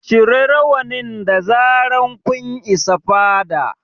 Cire rawanin da zarar kun isa fada